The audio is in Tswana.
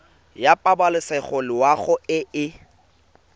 ya pabalesego loago e e